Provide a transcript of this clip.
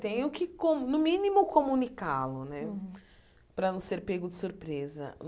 Tenho que, com no mínimo, comunicá-lo né, para não ser pego de surpresa.